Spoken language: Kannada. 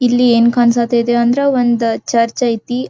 ಎಲ್ಲಿ ಏನ್ ಕಾಣ್ಸಕೈತಿ ಅಂದ್ರೆ ಒಂದ್ ಚರ್ಚ್ ಐತಿ.